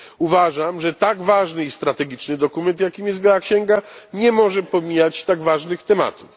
Uważam, że tak ważny i strategiczny dokument, jakim jest biała księga, nie może pomijać tak ważnych tematów.